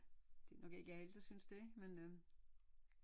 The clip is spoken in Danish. Det er nok ikke alle der synes det men øh